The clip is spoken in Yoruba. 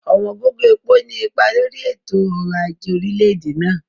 Ọ̀wọ̀n gógó epo ní ipa lórí i ètò orò aje orílẹ̀-èdè náà.